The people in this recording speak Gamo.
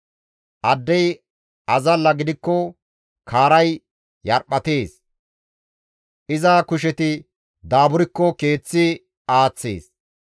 Addey azalla gidikko kaaray yarphattees; iza kusheti daaburkko keeththi aaththees.